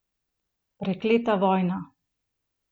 Prekleta vojna!